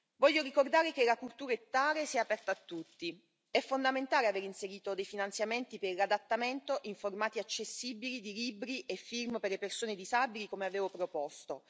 Voglio ricordare che la cultura è tale se aperta a tutti è fondamentale aver inserito dei finanziamenti per l'adattamento in formati accessibili di libri e film o per le persone disabili, come avevo proposto.